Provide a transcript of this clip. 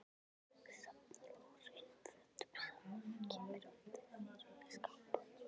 Safnar óhreinum fötum saman, kemur öðru fyrir í skápum.